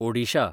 Odisha